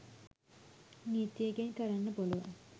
නීතියකින් කරන්න පුලුවන්.